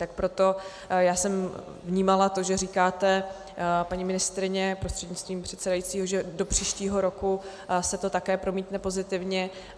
Tak proto já jsem vnímala to, že říkáte, paní ministryně prostřednictvím předsedajícího, že do příštího roku se to také promítne pozitivně.